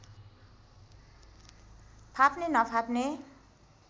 फाप्ने नफाप्ने